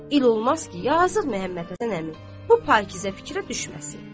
İl olmaz ki, yazıq Məhəmməd Həsən əmi bu pakizə fikrə düşməsin.